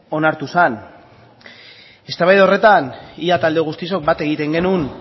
onartu zen eztabaida horretan ia talde guztiok bat egiten genuen